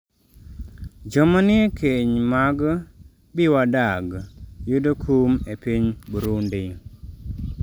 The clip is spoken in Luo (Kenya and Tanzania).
jo ma nie keny mag" bi wadag" yudo kum e piny Burundi